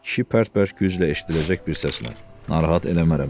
Kişi pərt-pərt güclə eşidiləcək bir səslə: Narahat eləmərəm, dedi.